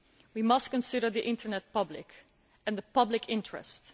We must consider the Internet public and public interests.